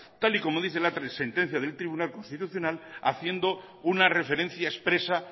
tal y como dice la sentencia del tribunal constitucional haciendo una referencia expresa